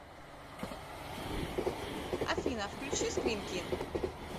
афина включи скримтин